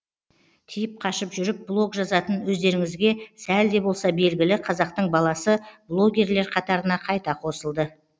тиіп қашып жүріп блог жазатын өздеріңізге сәл де болса белгілі қазақтың баласы блогерлер қатарына қайта қосылды